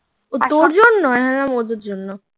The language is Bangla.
ও তোর জন্য আমি ভাবলাম ওদের জন্য